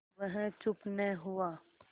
वह चुप न हुआ